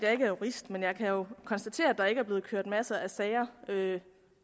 jeg ikke er jurist men jeg kan jo konstatere at der ikke er blevet ført masser af sager